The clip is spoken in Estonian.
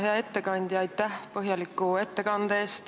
Hea ettekandja, aitäh põhjaliku ettekande eest!